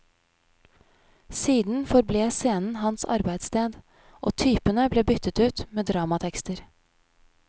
Siden forble scenen hans arbeidssted, og typene ble byttet ut med dramatekster.